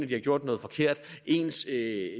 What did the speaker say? de har gjort noget forkert ens